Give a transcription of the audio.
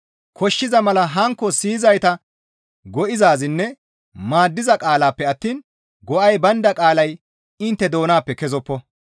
Koshshiza mala hankko siyizayta go7izaazinne maaddiza qaalappe attiin go7ay baynda qaalay intte doonappe kezoppo.